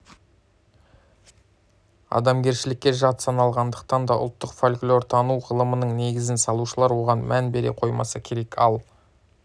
адамгершілікке жат саналғандықтан да ұлттық фольклортану ғылымының негізін салушылар оған мән бере қоймаса керек ал